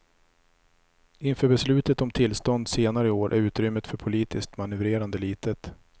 Inför beslutet om tillstånd senare i år är utrymmet för politiskt manövrerande litet.